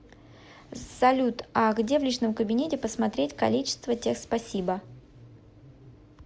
салют а где в личном кабинете посмотреть количество тех спасибо